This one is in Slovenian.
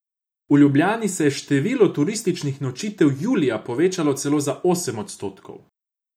V Ljubljani se je število turističnih nočitev julija povečalo celo za osem odstotkov.